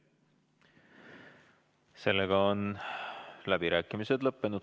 Sellega on läbirääkimised lõppenud.